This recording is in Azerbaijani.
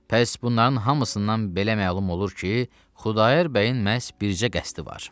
Bəs bunların hamısından belə məlum olur ki, Xudayar bəyin məhz bircə qəsdi var.